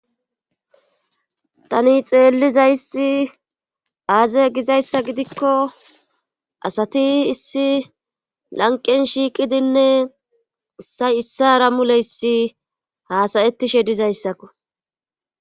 tani xeellizayssi aaze gizayssa gidikko asati issi lanqen shiiqidinne ussay issa rammuleyssi haasayettishe dizayssakko